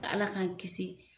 Ala k'an kisi